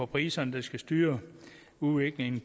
priserne der skal styre udviklingen